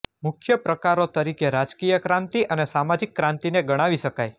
મુખ્ય પ્રકારો તરીકે રાજકીય ક્રાંતિ અને સામાજિક ક્રાંતિને ગણાવી શકાય